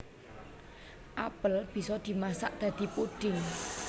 Apel bisa dimasak dadi puding